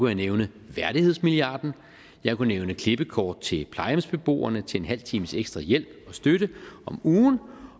jeg nævne værdighedsmilliarden jeg kunne nævne klippekort til plejehjemsbeboerne til en en halv times ekstra hjælp og støtte om ugen